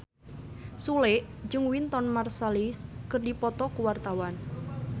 Sule jeung Wynton Marsalis keur dipoto ku wartawan